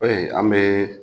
Ɛɛ an bɛ